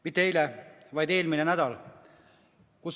Mitte eile, vaid eelmisel nädalal.